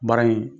Baara in